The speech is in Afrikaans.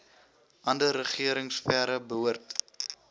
ander regeringsfere behoort